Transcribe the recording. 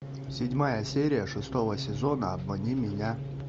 седьмая серия шестого сезона обмани меня